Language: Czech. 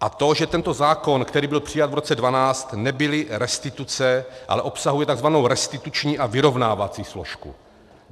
A to že tento zákon, který byl přijat v roce 2012, nebyly restituce, ale obsahuje tzv. restituční a vyrovnávací složku.